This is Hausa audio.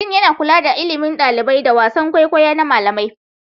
Dean yana kula da ilimin ɗalibai da wasan kwaikwayo na malamai.